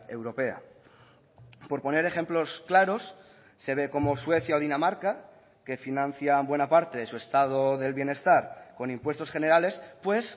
europea por poner ejemplos claros se ve como suecia o dinamarca que financian buena parte de su estado del bienestar con impuestos generales pues